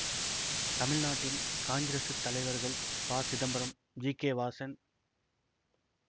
தமிழ்நாட்டின் காங்கிரசுத் தலைவர்கள் ப சிதம்பரம் ஜி கே வாசன்